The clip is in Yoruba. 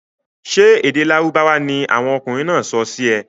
Sé èdè lárúbáwá ni àwon okunrìn náà sọ sì ẹ?